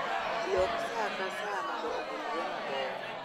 Lok saa ka saa mondo obulre maber